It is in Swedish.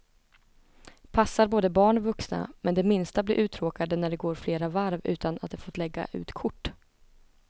Passar både barn och vuxna, men de minsta blir uttråkade när det går flera varv utan att de får lägga ut kort.